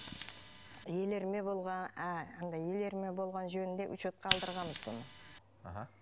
елірме болған андай елірме болғаны жөнінде учетқа алдырғанбыз бұны аха